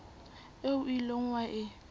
eo o ileng wa e